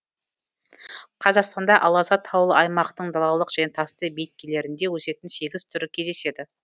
қазақстанда аласа таулы аймақтың далалық және тасты беткейлерінде өсетін сегіз түрі кездеседі